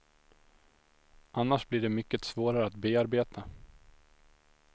Annars blir de mycket svårare att bearbeta.